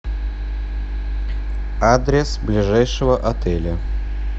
адрес ближайшего отеля